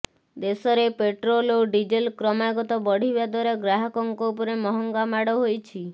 ଦେଶରେ ପେଟ୍ରୋଲ ଓ ଡିଜେଲ କ୍ରମାଗତ ବଢିବା ଦ୍ବାରା ଗ୍ରାହକଙ୍କ ଉପରେ ମହଙ୍ଗା ମାଡ ହୋଇଛି